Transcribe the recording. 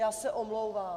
Já se omlouvám.